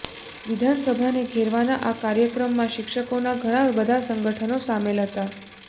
વિધાનસભાને ઘેરવાનાં આ કાર્યક્રમમાં શિક્ષકોનાં ઘણા બધાં સંગઠનો સામેલ હતા